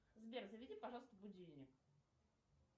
сбер заведи пожалуйста будильник